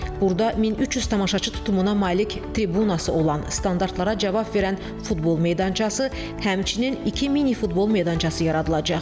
Burada 1300 tamaşaçı tutumuna malik tribunası olan, standartlara cavab verən futbol meydançası, həmçinin iki mini futbol meydançası yaradılacaq.